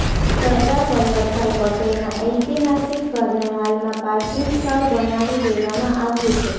સરદાર વલ્લભભાઇ પટેલના ઐતિહાસિક ઘરને હાલમાં પાર્કિંગ સ્થળ બનાવી દેવામાં આવ્યું છે